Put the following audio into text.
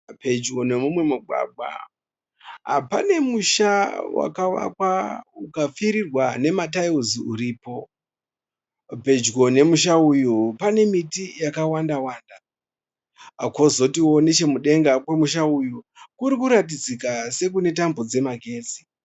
Pedyo nemumwe mugwagwa pane musha wakavakwa ukapfirirwa nema taera uripo. Pedyo nemusha uyu pane miti yakawanda wanda. Kozoti wo nechemudenga kwemusha uyu kurikuratidzika se kune tambo dzemagetsi .